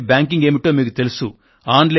on line banking ఏమిటో మీకు తెలుసు